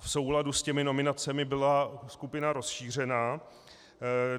V souladu s těmi nominacemi byla skupina rozšířena.